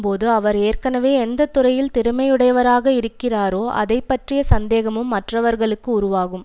போது அவர் ஏற்கனவே எந்த துறையில் திறமையுடையவராக இருக்கிறாரோ அதை பற்றிய சந்தேகமும் மற்றவர்களுக்கு உருவாகும்